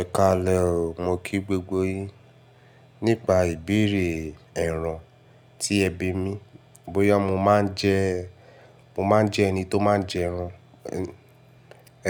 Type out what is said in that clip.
Ẹ ka lẹ o, mo kí gbogbo yín. Nípa ìbéèrè ẹran ti ẹ bí mi. Bóyá mo máa ń jẹ, mo máa ń jẹ ẹni tó máa ń jẹ ẹran.